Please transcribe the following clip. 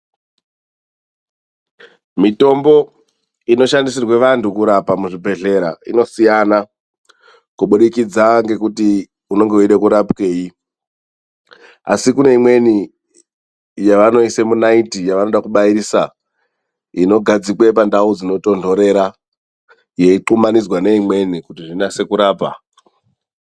Mitombo inoshandisirwa vantu kurapa muzvibhedhlera inosiyana kubudikidza ngekuti unenge weida kurapwei asi kune imweni yavanoisa munaiti yavanoda kubairisa inogadzika pandau inotonhorera ino xungamidza neimweni kuti zvinase kurapa.